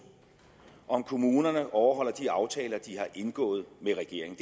om kommunerne overholder de aftaler de har indgået med regeringen